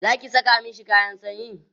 Zaki Saka mashi kayan sanyi?